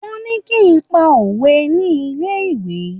Wọ́n ní kí n pa òwe ní ilé-ìwé.